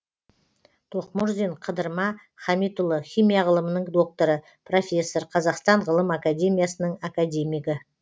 тоқмұрзин қыдырма хамитұлы химия ғылымының докторы профессор қазақстан ғылым академиясының академигі